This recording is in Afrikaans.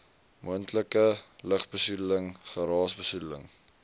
moontlike lugbesoedeling geraasbesoedeling